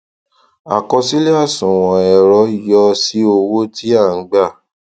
àkọsílẹ àṣùwọn ẹrọ yọ sí owó tí a n gba